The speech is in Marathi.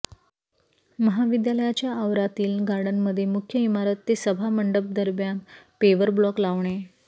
महाविद्यालयाच्या आवारातील गार्डनमध्ये मुख्य इमारत ते सभा मंडपदरम्यान पेव्हर ब्लॉक लावणे